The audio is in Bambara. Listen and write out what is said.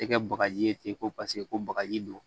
Tɛ kɛ bagaji ye ten ko paseke ko bakaji don